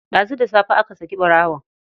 Ɗazu da safe aka saki ɓarawon.